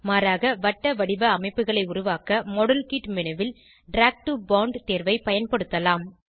மாறாக வட்டவடிவ அமைப்புகளை உருவாக்க மாடல்கிட் மேனு ல் டிராக் டோ போண்ட் தேர்வை பயன்படுத்தலாம்